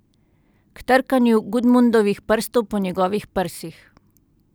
K trkanju Gudmundovih prstov po njegovih prsih.